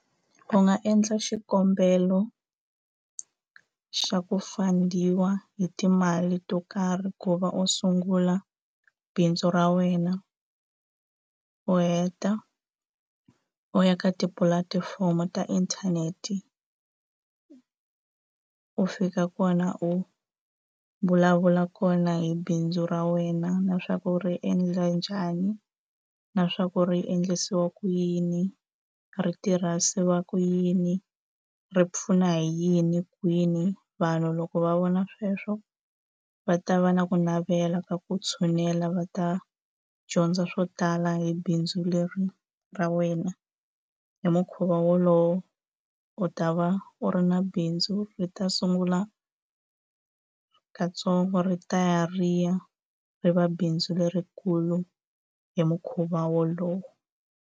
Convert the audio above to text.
U nga endla xikombelo xa ku fund-iwa hi timali to karhi ku va u sungula bindzu ra wena u heta u u ya ka tipulatifomo ta inthanete u fika kona u vulavula kona hi bindzu ra wena na swa ku ri endla njhani na swa ku ri endlisiwa ku yini ri tirhisiwa ku yini ri pfuna hi yini kwini vanhu loko va vona sweswo va ta va na ku navela ka ku tshunela va ta dyondza swo tala hi bindzu leri ra wena hi mukhuva wolowo u ta va u ri na bindzu ri ta sungula katsongo ri ta ya ri ya ri va bindzu lerikulu hi mukhuva wolowo.